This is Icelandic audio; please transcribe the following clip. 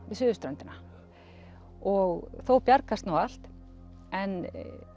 við suðurströndina og þó bjargast nú allt en